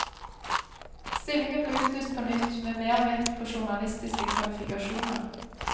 Stillingen ble utlyst på nytt med mer vekt på journalistiske kvalifikasjoner.